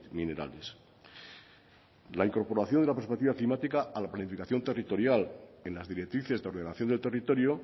minerales la incorporación de la perspectiva climática a la planificación territorial en las directrices de ordenación de territorio